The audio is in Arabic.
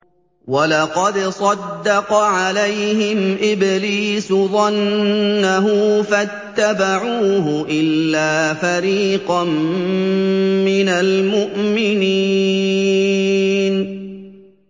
وَلَقَدْ صَدَّقَ عَلَيْهِمْ إِبْلِيسُ ظَنَّهُ فَاتَّبَعُوهُ إِلَّا فَرِيقًا مِّنَ الْمُؤْمِنِينَ